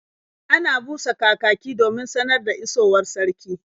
Ana busa kakaki domin sanar da isowar sarki.